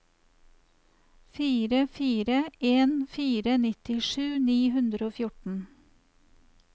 fire fire en fire nittisju ni hundre og fjorten